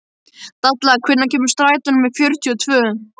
Dalla, hvenær kemur strætó númer fjörutíu og tvö?